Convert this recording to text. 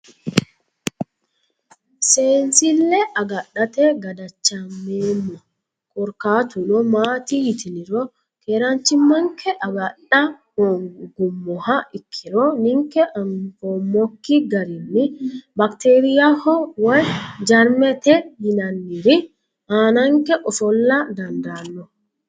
sensille agadhate gadachameemmo korkaatuno maati yitiniro keranchimanke agadha hoongumoha ikkiro ninke anfoomoki garinni bakteriyaho woye jarmete yinanniri aananke ofolla dandaanno .